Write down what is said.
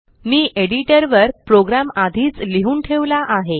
मी एडिटरवर प्रोग्रॅम आधीच लिहून ठेवला आहे